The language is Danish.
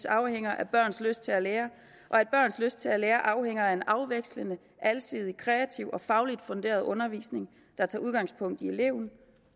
afhænger af børns lyst til at lære og at børns lyst til at lære afhænger af en afvekslende alsidig kreativ og fagligt funderet undervisning der tager udgangspunkt i eleven